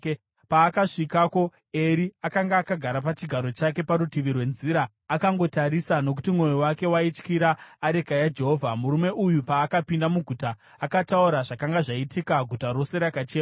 Paakasvikako, Eri akanga akagara pachigaro chake parutivi rwenzira, akangotarisa, nokuti mwoyo wake waityira areka yaJehovha. Murume uyu paakapinda muguta akataura zvakanga zvaitika, guta rose rakachema.